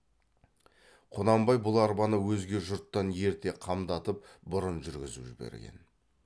құнанбай бұл арбаны өзге жұрттан ерте қамдатып бұрын жүргізіп жіберген